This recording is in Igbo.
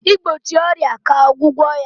igbochi ọrịa ka ọgwụgwọ ya.